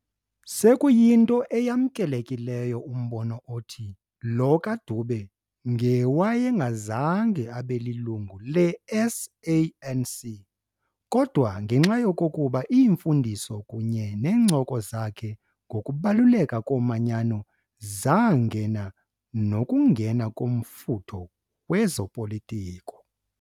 Sekuyinto eyamkelekileyo umbono othi lo kaDube ngewayengazange abe lilungu leSANC, kodwa ngenxa yokokuba iimfundiso kunye neencoko zakhe ngokubaluleka komanyano zangena nokungena komfutho wezopolitiko.